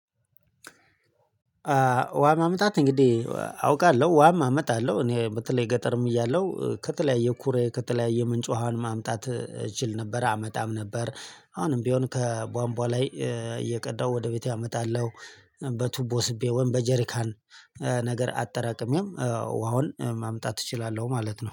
ውሃ ማምጣት እንግዲህ አውቃለሁ ውሃም አመጣለሁ እኔ በተለይ ገጠርም እያለሁ ከተለያየ ኩሬ ከተለያየ ምንጭ ውሃን ማምጣት እችል ነበር አመጣም ነበር። አሁንም ቢሆን ከቧንቧ ላይ እየቀዳው ወደ ቤቴ አመጣለሁ። በቱቦ ስቤ ወይም በጀሪካን ነገር አጠራቅሜም ውሃውን ማምጣት እችላለሁ ማለት ነው